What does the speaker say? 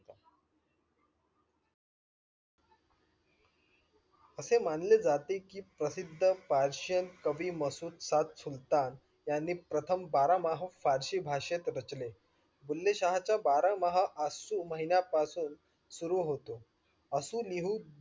अशे मानले जाते कि प्रसिद्ध प्र्शियान कवी मशूद सात सुलतान यांनी प्रथम बारा मह पारशी भाषेत रचले. बुले शहा चा बारा महा आशेपासून सूर होतो. असू निहू